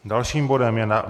Dalším bodem je